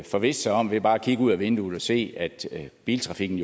forvisse sig om ved bare at kigge ud af vinduet se at biltrafikken